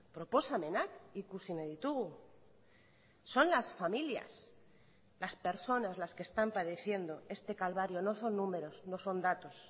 proposamenak ikusi nahi ditugu son las familias las personas las que están padeciendo este calvario no son números no son datos